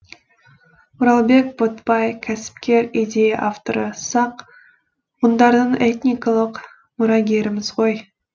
оралбек ботбай кәсіпкер идея авторы сақ ғұндардың этникалық мұрагеріміз ғой